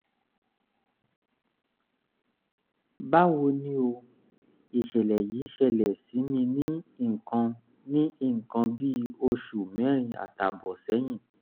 báwo ni o? ìṣẹ̀lẹ̀ yìí ṣẹlẹ̀ sí mi ní nǹkan ní nǹkan bí oṣù mẹ́rin àtààbọ̀ sẹ́yìn